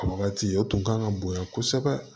A wagati o tun kan ka bonya kosɛbɛ